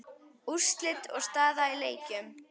Úrslit og staða í leikjum